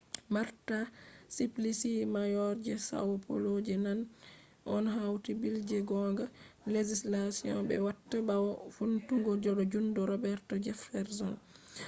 marta suplicy mayor je são paulo je nane on hauti bill je gonga. legislation je be watta bawo vountungo do jungo roberto jefferson